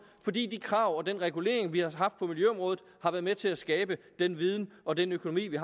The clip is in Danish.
fordi de krav og den regulering vi har haft på miljøområdet har været med til at skabe den viden og den økonomi vi